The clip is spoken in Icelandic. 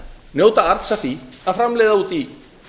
njóta arðs af því að framleiða úti í